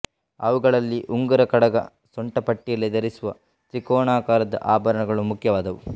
ಅವುಗಳಲ್ಲಿ ಉಂಗುರ ಕಡಗ ಸೊಂಟಪಟ್ಟಿಯಲ್ಲಿ ಧರಿಸುವ ತ್ರಿಕೋಣಾಕಾರದ ಆಭರಣಗಳು ಮುಖ್ಯವಾದವು